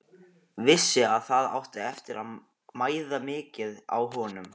Vissi að það átti eftir að mæða mikið á honum.